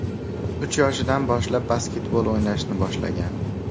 Uch yoshidan boshlab basketbol o‘ynashni boshlagan.